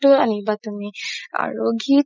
তো আনিবা তুমি আৰু ঘি